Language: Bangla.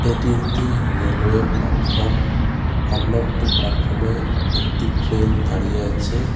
এটি একটি রেলওয়ে প্লাটফর্ম অন্য একটি প্লাটফর্মে একটি ট্রেন দাঁড়িয়ে আছে.